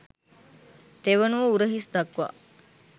තෙවනුව උරහිස් දක්වා